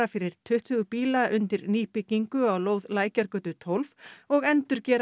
fyrir tuttugu bíla undir nýbyggingu á lóð Lækjargötu tólf og endurgera